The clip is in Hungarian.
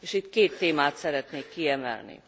Itt két témát szeretnék kiemelni.